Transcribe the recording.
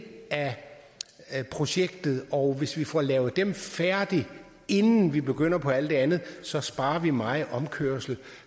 af projektet og hvis vi får lavet dem færdig inden vi begynder på alt det andet så sparer vi meget omkørsel